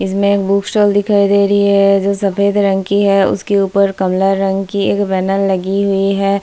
इसमें book stall दिखाई दे रही है जो सफेद रंग की है उस के ऊपर कमला रंग की एक बैनर लगी हुई है।